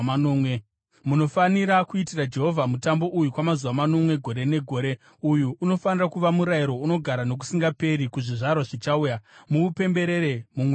Munofanira kuitira Jehovha mutambo uyu kwamazuva manomwe gore negore. Uyu unofanira kuva murayiro unogara nokusingaperi kuzvizvarwa zvichauya; muupemberere mumwedzi wechinomwe.